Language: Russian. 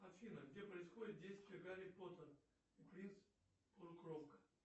афина где происходит действие гарри поттера принц полукровка